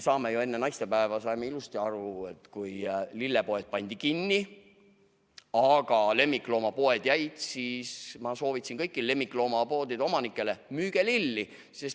Me enne naistepäeva saime ju ilusti aru, et kui lillepoed pandi kinni, aga lemmikloomapoed jäid lahti, siis ma soovitasin kõigile lemmikloomapoe omanikele, et müüge lilli.